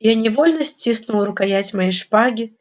я невольно стиснул рукоять моей шпаги